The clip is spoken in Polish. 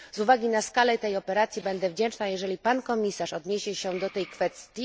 Z uwagi na skalę tej operacji będę wdzięczna, jeżeli pan komisarz odniesie się do tej kwestii.